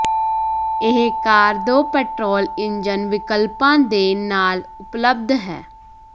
ਇਹ ਕਾਰ ਦੋ petrol engine ਵਿਕਲਪਾਂ ਦੇ ਨਾਲ ਉਪਲਬਧ ਹੈ